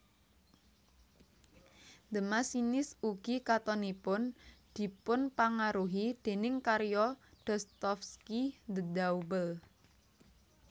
The Machinist ugi katonipun dipunpangaruhi déning karya Dostovsky The Double